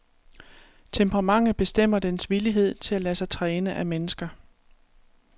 Temperamentet bestemmer dens villighed til at lade sig træne af mennesker.